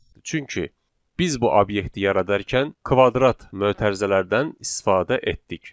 Çünki biz bu obyekti yaradarkən kvadrat mötərizələrdən istifadə etdik.